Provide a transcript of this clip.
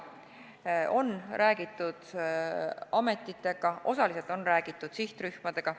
On räägitud ametitega, osaliselt on räägitud sihtrühmadega.